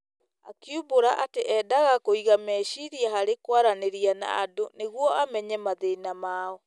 Akiumbũra atĩ endaga kũiga meciiria harĩ kwaranĩria na andũ nĩguo amenye mathĩna mao.